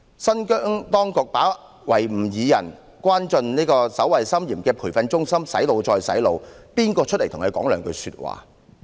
新疆當局把維吾爾人關進守衞森嚴的培訓中心"洗腦"，有誰站出來為他們發聲？